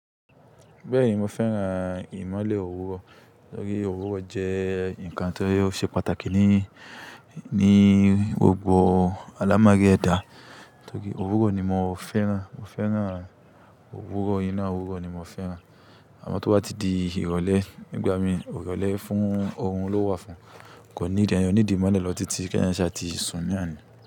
Bẹ́ẹ̀ni, mo fẹ́ran ìmọ́lẹ̀ òwúrọ̀. Torí òwúrọ̀ jẹ́ ǹkan tó ṣe pàtàkì ni, ni gbogbo alámari edà. Torí òwúrọ̀ ni mo fẹ́ran, mo fẹ́ran òwúrọ̀ iná, òwúrọ̀ ni mo fẹ́ran. Àmọ́ tó bá ti di ìrọ̀lẹ́, nígbà mì ìrọ̀lẹ́ fún orun ló wà fún. Kò ní need, eẹyan ò ní need ìmọ́lẹ̀ lọ́tí títi kẹ́ eeyan sà tí sùn ní náni.